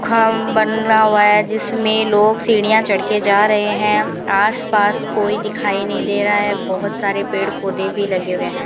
खाम बनारा हुआ है जिसमें लोग सीढ़ियां चढ़ के जा रहे हैं आसपास कोई दिखाई नई दे रहा है बहोत सारे पेड़ पौधे भी लगे हुए हैं।